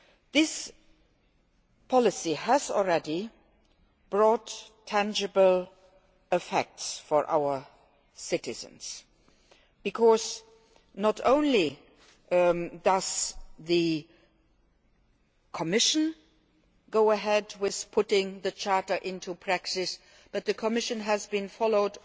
This policy has already brought tangible effects for our citizens because not only does the Commission go ahead with putting the Charter into practice, but the Commission has also been followed